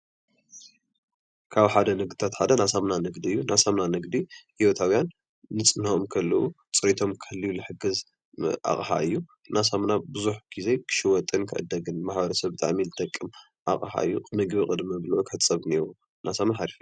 ካብ ሓደ ንግድታት ሓደ ናይ ሳሙና ንግዲ እዩ። ናይ ሳሙና ንግዲ ሂወታውያን ንፅህንኦም ክሕልው ፅሬቶም ክሕልው ዝሕግዝ ኣቅሓ እዩ። እና ብዙሕ ግዜ ሳሙና ክሽየጥን ክዕደግን ንማህበረሰብና ብጣዕሚ ዝጠቅም ኣቕሓ እዩ። ምግቢ ቅድሚ ምብልዑ ክሕፀብ ኣለዎ እና ሳሙና ሓሪፍ፡፡